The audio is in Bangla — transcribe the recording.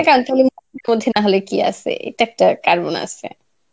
নাহলে কি আসে এটা একটা কারণ আসে.